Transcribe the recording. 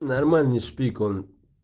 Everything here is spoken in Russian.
нормальный шпик он